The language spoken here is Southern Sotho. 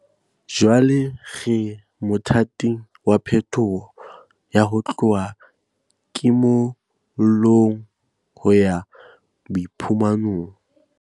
Jwale re mothating wa phetoho ya ho tloha kimo llong ho ya boiphumanong.